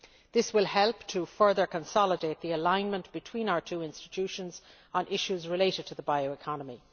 This will help to further consolidate the alignment between our two institutions on issues related to the bioeconomy.